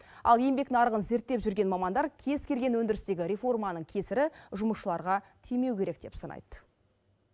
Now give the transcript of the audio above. ал еңбек нарығын зерттеп жүрген мамандар кез келген өндірістегі реформаның кесірі жұмысшыларға тимеу керек деп санайды